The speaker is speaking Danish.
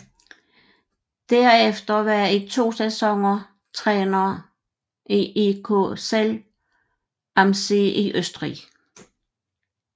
Derefter var i to sæsoner træner i EK Zell am See i Østrig